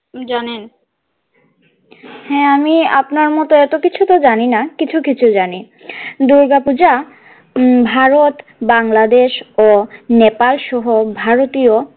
জানেন হ্যাঁ আমি আপনার মতো এতো কিছুতো জানি না কিছু কিছু জানি দুর্গা পূজা উম ভারত বাংলাদেশ ও নেপাল সহ ভারতীয়।